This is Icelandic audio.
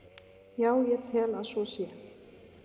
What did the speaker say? Já, ég tel að svo sé.